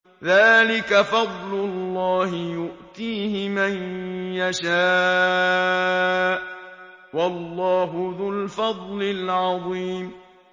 ذَٰلِكَ فَضْلُ اللَّهِ يُؤْتِيهِ مَن يَشَاءُ ۚ وَاللَّهُ ذُو الْفَضْلِ الْعَظِيمِ